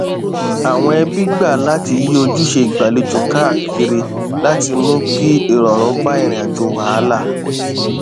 àwọn ẹbí gbà láti yí ojúṣe ìgbàlejò káàkiri láti mú kí ìrọrùn bá ìrìn àjò wàhálà